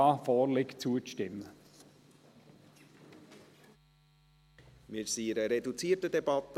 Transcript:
Wir befinden uns in einer reduzierten Debatte.